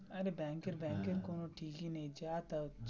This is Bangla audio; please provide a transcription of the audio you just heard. অরে ব্যাংকের বব্যাংকের কোনো ঠিকই নেই যা তাই.